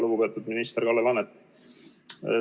Lugupeetud minister Kalle Laanet!